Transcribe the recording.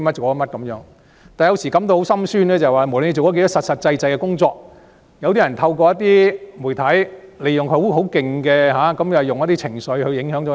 我有時也感到很心酸，不管我們做了多少實事，有些人也會透過媒體利用一些情緒影響市民。